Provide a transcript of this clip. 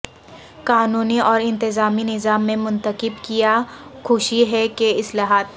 قانونی اور انتظامی نظام میں منتخب کیا خوشی ہے کہ اصلاحات